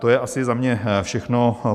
To je asi za mě všechno.